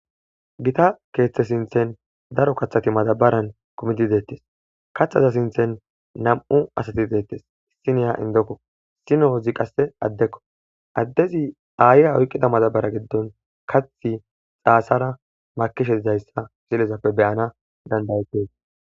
Gitta keeththe sinthen daro kathati matabaran kumiti deettes kathaza sinthen na'mu asati deettes siniya indokko sinozi qasse addekko addezi aayiya oyqqida matabara giddon kathi xaasara makishe idayssa zilezappe beyana dandayizes